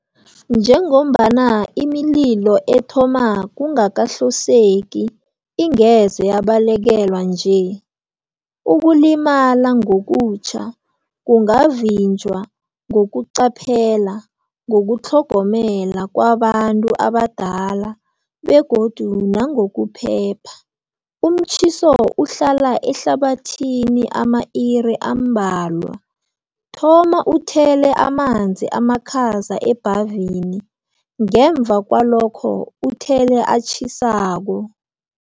Njengombana imililo ethoma kungakahloseki ingeze yabalekelwa nje, ukulimala ngokutjha kungavinjwa ngokuqaphela, ngokutlhogomela kwabantu abadala begodu nangokuphepha. Umtjhiso uhlala ehlabathini ama-iri ambalwa. Thoma uthele amanzi amakhaza ebhavini, ngemva kwalokho uthele atjhisako.